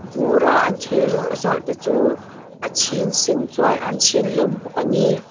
bura an thil zawrh te chu a chhin sen chuan an chhin hlawm bawk ani.